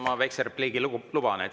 Ma väikse repliigi endale luban.